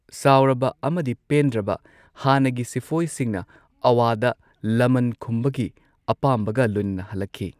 ꯁꯥꯎꯔꯕ ꯑꯃꯗꯤ ꯄꯦꯟꯗ꯭ꯔꯕ ꯍꯥꯟꯅꯒꯤ ꯁꯤꯄꯣꯢꯁꯤꯡꯅ ꯑꯋꯥꯗ ꯂꯃꯟ ꯈꯨꯝꯕꯒꯤ ꯑꯄꯥꯝꯕꯒ ꯂꯣꯢꯅꯅ ꯍꯜꯂꯛꯈꯤ꯫